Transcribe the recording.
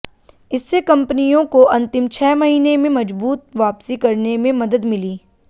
इससे कंपनियों को अंतिम छह महीने में मजबूत वापसी करने में मदद मिली